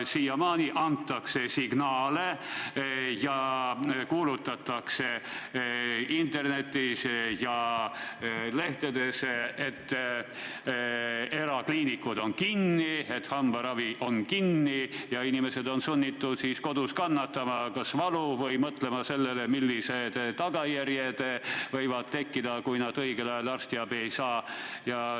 Siiamaani antakse signaale ja kuulutatakse internetis ja lehtedes, et erakliinikud on kinni, hambaravi on peatatud, ja inimesed on sunnitud kodus valu kannatama või mõtlema sellele, millised tagajärjed võivad tekkida, kui nad õigel ajal arstiabi ei saa.